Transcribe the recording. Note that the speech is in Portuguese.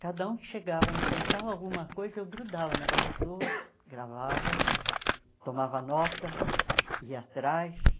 Cada um que chegava a me contar alguma coisa, eu grudava na pessoa, gravava, tomava nota, ia atrás.